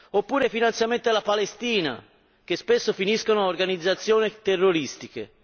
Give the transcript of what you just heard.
oppure i finanziamenti alla Palestina, che spesso finiscono a organizzazioni terroristiche.